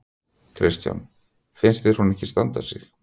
Kristján: Finnst þér hún ekki standa sig?